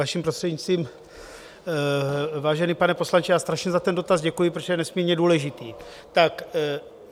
Vaším prostřednictvím, vážený pane poslanče, já strašně za ten dotaz děkuji, protože je nesmírně důležitý.